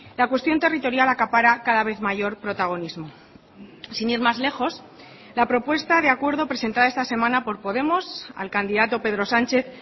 la cuestión territorial acapara cada vez mayor protagonismo sin ir más lejos la propuesta de acuerdo presentada esta semana por podemos al candidato pedro sánchez